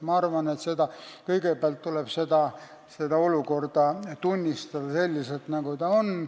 Ma arvan, et kõigepealt tuleb tunnistada, et olukord on selline, nagu ta on.